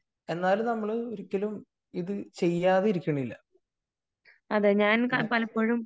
എന്നാലും നമ്മള് ഒരിക്കലും ഇത് ചെയ്യാതിരിക്കുന്നില്ല .